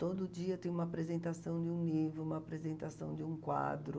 Todo dia tem uma apresentação de um livro, uma apresentação de um quadro.